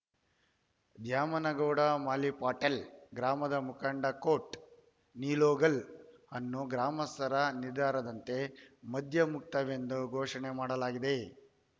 ದ್ಯಾಮನಗೌಡ ಮಾಲೀಪಾಟೀಲ್‌ ಗ್ರಾಮದ ಮುಖಂಡ ಕೋಟ್‌ ನಿಲೋಗಲ್‌ ಅನ್ನು ಗ್ರಾಮಸ್ಥರ ನಿರ್ಧಾರದಂತೆ ಮದ್ಯಮುಕ್ತವೆಂದು ಘೋಷಣೆ ಮಾಡಲಾಗಿದೆ